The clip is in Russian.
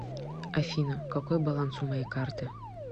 афина какой баланс у моей карты